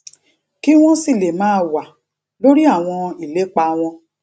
kí wón sì lè máa wà lórí àwọn ìlépa wọn